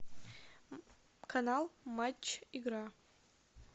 канал матч игра